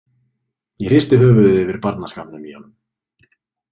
Ég hristi höfuðið yfir barnaskapnum í honum.